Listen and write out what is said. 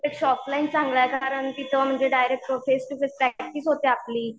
पेक्षा ऑफलाईन चांगलं आहे कारण, की तो म्हणजे direct face to face practice होते आपली.